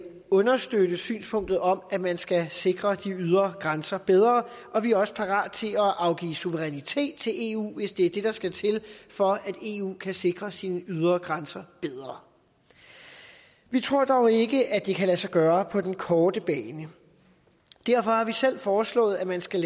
understøtte synspunktet om at man skal sikre de ydre grænser bedre og vi er også parate til at afgive suverænitet til eu hvis det er det der skal til for at eu kan sikre sine ydre grænser bedre vi tror dog ikke at det kan lade sig gøre på den korte bane derfor har vi selv foreslået at man skal